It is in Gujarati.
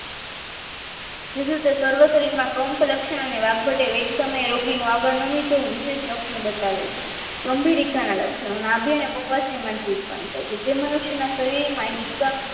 જરૂરી સર્વશ શરીરમાં કમ્પ લક્ષણને વાઘ વેટે સમયે આવે છે રોગીનું આગળ નમી જવું વિશેષ લક્ષણ બતાવે છે ગંભીરીતા ના લક્ષણો નાભી અને પ્રક્વાશી માંથી ઉત્પન્ન થાય છે જે મનુષ્યના શરીર માં હિપકા